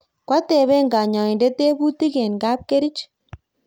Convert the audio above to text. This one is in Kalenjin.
koateben nyoindet tebutik eng kapkerich